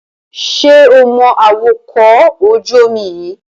Ṣé o mọ awakọ̀ ojú-omi yíì?